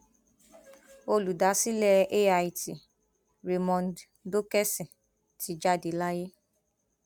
olùdásílẹ ait raymond dókèsì ti jáde láyé